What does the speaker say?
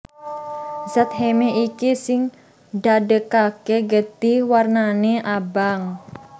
Zat heme iki sing ndadèkaké getih wernané abang